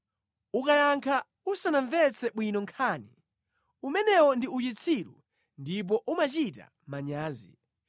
Ukayankha usanamvetse bwino nkhani, umenewo ndi uchitsiru ndipo umachita manyazi.